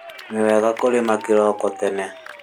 Nĩ wega kũrĩma kĩroko tene